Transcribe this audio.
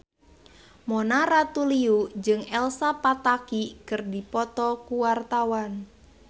Mona Ratuliu jeung Elsa Pataky keur dipoto ku wartawan